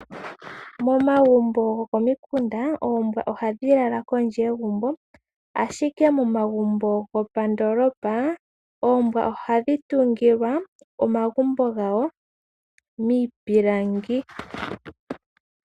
Momagumbo gokomikunda, oombwa ohadhi lala kondje yegumbo ashike momagumbo gopandoolopa, oombwa ohadhi tungilwa omagumbo gawo miipilangi.